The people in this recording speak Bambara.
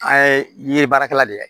An ye ye baarakɛla de ye